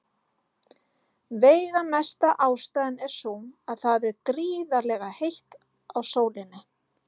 Veigamesta ástæðan er sú að það er gríðarlega heitt á sólinni.